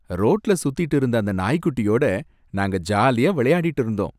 ரோட்டுல சுத்திட்டு இருந்த அந்த நாய்க்குட்டியோட நாங்க ஜாலியா விளையாடிட்டு இருந்தோம்